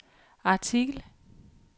artikel